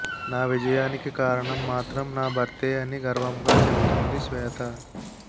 నా విజయానికి కారణం మాత్రం నా భర్తే అని గర్వంగా చెబుతుంది శ్వేత